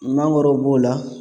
Mangoro b'o la